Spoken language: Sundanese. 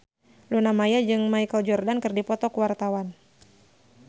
Luna Maya jeung Michael Jordan keur dipoto ku wartawan